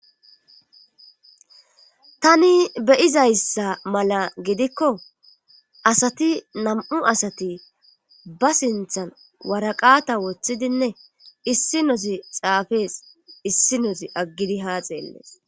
tani beyizayssa mala gidikko asati nam7u asati ba sinthan waraqata woththidinne issi nozi xaafees issi nozi aggidi haa xeellees